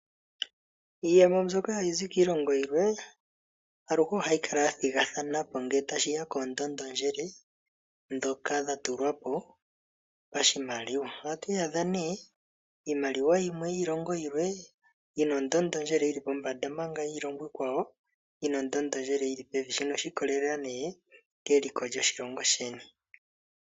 Iiyemo mbyoka hayi zi kiilongo yilwe, aluhe ohayi kala ya thigathano po ngele tashiya koondondondjele ndhoka dha tulwa po pashimaliwa. Ohatu iyadha nee iimaliwa yimwe yiilongo yilwe yina ondondondjele yili pombanda omanga yiilongo iikwawo, yina ondondondjele yili pevi, shino oshi ikolelela nee keliko lyoshilongo sheni.